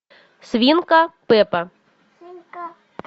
свинка пеппа